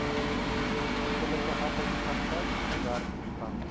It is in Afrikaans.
onbillike arbeidsprakryk werktoestande